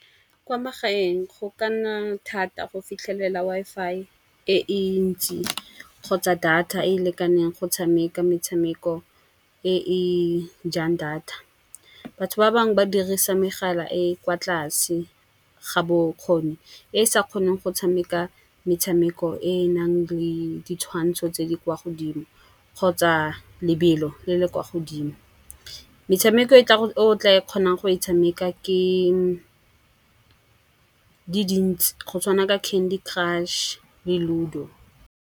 Kwa magaeng go ka nna thata go fitlhelela Wi-Fi e e ntsi kgotsa data e e lekaneng go tshameka metshameko e e jang data. Batho ba bangwe ba dirisa megala e e kwa tlase ga bokgoni, e e sa kgoneng go tshameka metshameko e e nang le ditshwantsho tse di kwa godimo, kgotsa lebelo le le kwa godimo. Metshameko e tla o tla e kgonang go e tshameka ke di dintsi, go tshwana ka Candy Crush le Ludo.